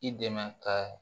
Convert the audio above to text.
I dɛmɛ ka